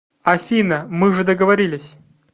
афина мы же договорились